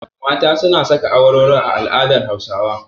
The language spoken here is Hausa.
Mata suna saka awarwaro a al'adar Hausawa.